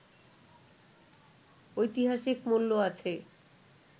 ঐতিহাসিক মূল্য আছে